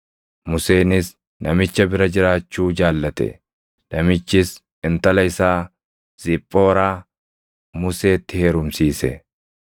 Museenis namicha bira jiraachuu jaallate; namichis intala isaa Ziphooraa Museetti heerumsiise.